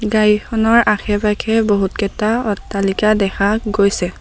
গাড়ীখনৰ আশে-পাশে বহুতকেটা অট্টালিকা দেখা গৈছে।